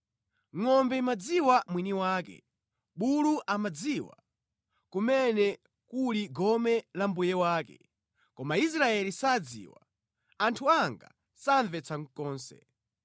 Ngʼombe imadziwa mwini wake, bulu amadziwa kumene kuli gome la mbuye wake, koma Israeli sadziwa, anthu anga samvetsa konse.”